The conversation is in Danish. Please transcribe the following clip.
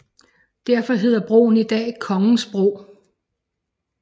Derfor hedder broen i dag Kongensbro